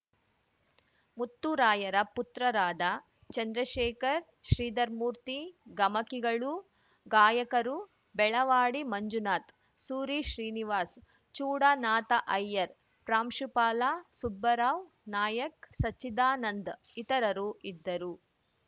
ಮುತ್ತುರಾಯರ ಪುತ್ರರಾದ ಚಂದ್ರಶೇಖರ್‌ ಶ್ರೀಧರ್ ಮೂರ್ತಿ ಗಮಕಿಗಳು ಗಾಯಕರು ಬೆಳವಾಡಿ ಮಂಜುನಾಥ್‌ ಸೂರಿಶ್ರೀನಿವಾಸ್‌ ಚೂಡನಾಥಅಯ್ಯರ್ ಪ್ರಾಂಶುಪಾಲ ಸುಬ್ಬರಾವ್‌ ನಾಯಕ್‌ ಸಚ್ಚಿದಾನಂದ್‌ ಇತರರು ಇದ್ದರು